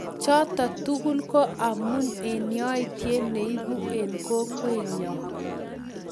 choto tugul ko omu yoitye neibu eng kokwenyo